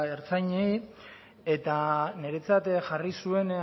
ertzainei eta niretzat jarri zuen